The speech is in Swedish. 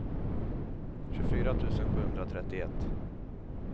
tjugofyra tusen sjuhundratrettioett